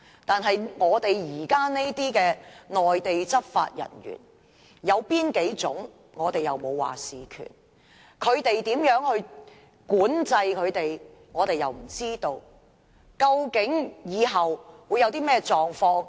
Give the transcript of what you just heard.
但是，現時這些內地執法人員有哪幾種，我們沒有決定權；內地如何管制他們，我們又不知道，究竟日後會出現甚麼情況？